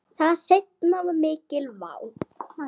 Það seinna var mikil vá.